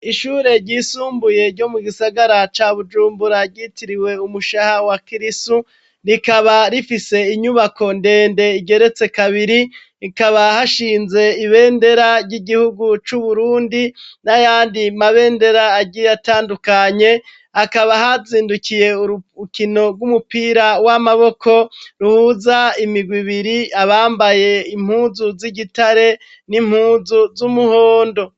Ishure ryisumbuye ryo mu gisagara ca bujumburaryitiriwe umushaha wa kristo rikaba rifise inyubako ndende igeretse kabiri rikaba hashinze ibendera ry'igihugu c'uburundi n'ayandi mabendera aryiyatandukanye akaba hazindukiye uruukino umupira w'amaboko ruhuza imigwa ibiri abambaye impuzu z'igitare n'impuzu z'umuhondo.